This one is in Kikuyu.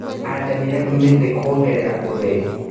Atemire mĩtĩ kuongerera ũtheri.